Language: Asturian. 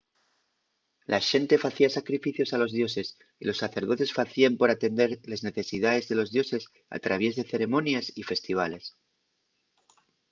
la xente facía sacrificios a los dioses y los sacerdotes facíen por atender les necesidaes de los dioses al traviés de ceremonies y festivales